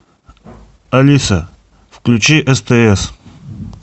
алиса включи стс